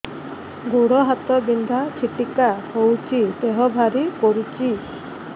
ଗୁଡ଼ ହାତ ବିନ୍ଧା ଛିଟିକା ହଉଚି ଦେହ ଭାରି କରୁଚି